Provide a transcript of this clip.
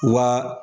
Wa